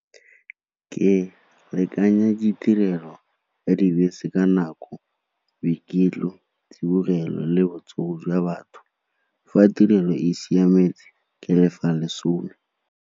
Ke lekanya ditirelo ya di bese ka nako, tsibogelo le botsogo jwa batho. Fa tirelo e siametse ke lefa lesome.